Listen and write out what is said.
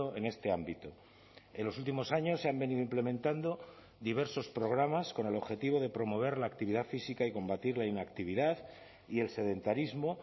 en este ámbito en los últimos años se han venido implementando diversos programas con el objetivo de promover la actividad física y combatir la inactividad y el sedentarismo